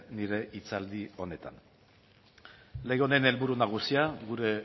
nire hitzaldi honetan lege honen helburu nagusia gure